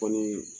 Kɔni